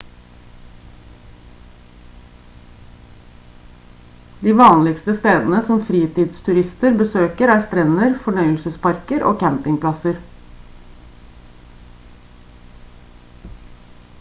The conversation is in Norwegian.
de vanligste stedene som fritidsturister besøker er strender fornøyelsesparker og campingplasser